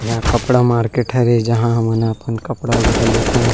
यह कपडा मार्केट हरे जहाँ हमन अपन कपड़ा वगैरा लेत हन।